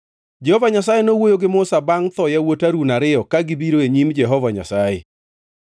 Jehova Nyasaye nowuoyo gi Musa bangʼ tho yawuot Harun ariyo ka gibiro e nyim Jehova Nyasaye.